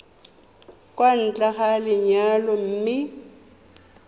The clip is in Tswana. kwa ntle ga lenyalo mme